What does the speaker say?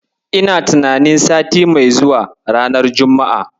Ina tunanin sati mai zuwa, ranar juma'a.